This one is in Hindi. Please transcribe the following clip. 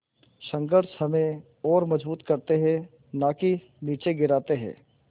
संघर्ष हमें और मजबूत करते हैं नाकि निचे गिराते हैं